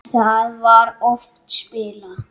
Þá var oft spilað.